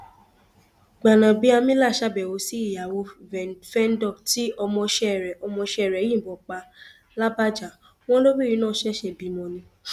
gbanábíàmílà ṣàbẹwò sí ìyàwó fẹńdọ tí ọmọọṣẹ rẹ ọmọọṣẹ rẹ yìnbọn pa làbájá wọn lobìnrin náà ṣẹṣẹ bímọ ni